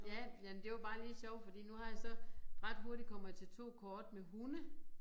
Ja ja men det var bare lige sjovt fordi nu har jeg så ret hurtigt kommet til 2 kort med hunde